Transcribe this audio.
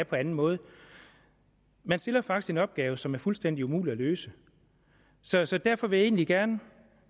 på anden måde man stiller faktisk en opgave som er fuldstændig umulig at løse så så derfor vil jeg egentlig gerne